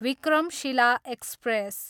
Vikramshila express